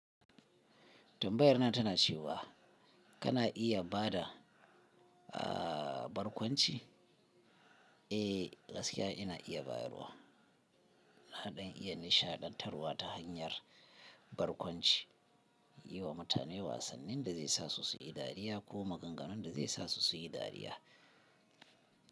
Tambayar nan tana cewa kana iya ba da barkwanci? Eh, gaskiya ina iya bayarwa. Na ɗan iya nishaɗantarwa ta hanyar barkwanci, yi wa mutane wasannin da zai sa su suyi dariya ko maganganun da zai sa su suyi dariya.